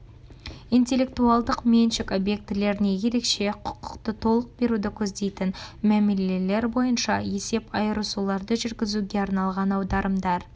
интеллектуалдық меншік объектілеріне ерекше құқықты толық беруді көздейтін мәмілелер бойынша есеп айырысуларды жүргізуге арналған аударымдар